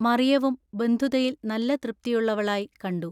മറിയവും ബന്ധുതയിൽ നല്ല തൃപ്തിയുള്ളവളായി കണ്ടു.